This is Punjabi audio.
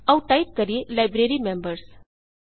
ਆਉ ਟਾਈਪ ਕਰੀਏ ਲਾਈਬ੍ਰੇਰੀ membersਲਾਈਬ੍ਰੇਰੀਮੈਂਬਰਜ਼